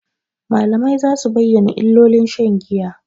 Malamai za su bayyana illolin shan giya.